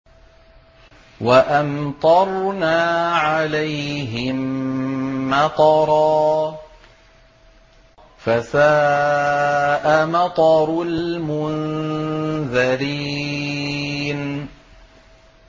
وَأَمْطَرْنَا عَلَيْهِم مَّطَرًا ۖ فَسَاءَ مَطَرُ الْمُنذَرِينَ